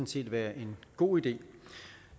set være en god idé